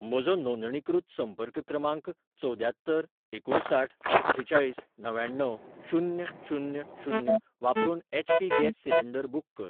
म्हजो नोंदणीकृत संपर्क क्रमांक चवद्यात्तर एकुणसाठ अठ्ठेचाळीस णव्याण्णव शून्य शून्य शून्य वापरून एचपी गॅस सिलेंडर बुक कर.